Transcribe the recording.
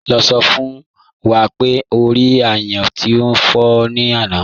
Ló̩ló̩ sọ̀ fún wá pé o rí àyán tí n fọ ní ànà.